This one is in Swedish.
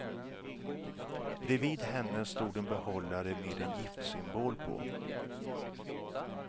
Bredvid henne stod en behållare med en giftsymbol på.